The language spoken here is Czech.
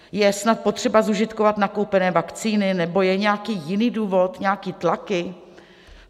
Je snad potřeba zužitkovat nakoupené vakcíny, nebo je nějaký jiný důvod, nějaké tlaky?